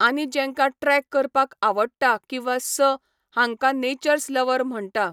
आनी जेंकां ट्रॅक करपाक आवडटा किंवा स हांकां नेचर्स लव्हर म्हणटा.